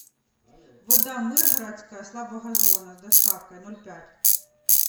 вода мыргородская слабогазованная с доставкой ноль пять